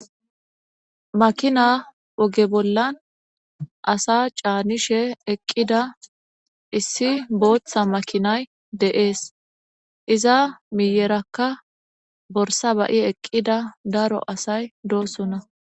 makina oge bollan asa caanishe eqqida issi booththa makinay deees iza miyerakka borsa bayi eqqida daro asay doossona